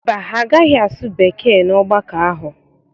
Mba, ha agaghị asụ Bekee n'ọgbakọ ahụ.